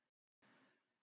Hún var rosa góð.